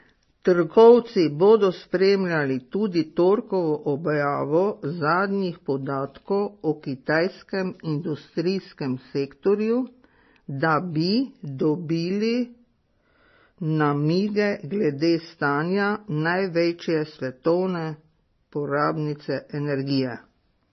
Trgovci bodo spremljali tudi torkovo objavo zadnjih podatkov o kitajskem industrijskem sektorju, da bi dobili namige glede stanja največje svetovne porabnice energije.